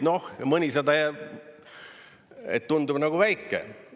Noh, mõnisada tundub nagu väike.